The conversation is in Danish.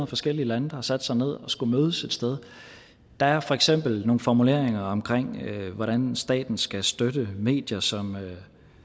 forskellige lande der har sat sig ned og skullet mødes et sted der er for eksempel nogle formuleringer om hvordan staten skal støtte medier som